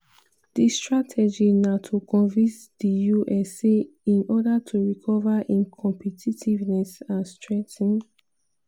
"di strategy na to convince di us say in order to recover im competitiveness and strengthen